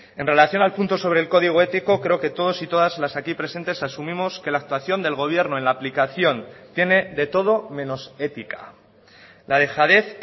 en relación al punto sobre el código ético creo que todos y todas las aquí presentes asumimos que la actuación del gobierno en la aplicación tiene de todo menos ética la dejadez